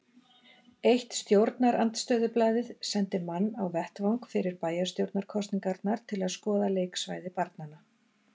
Eitt stjórnarandstöðublaðið sendi mann á vettvang fyrir bæjarstjórnarkosningarnar til að skoða leiksvæði barnanna.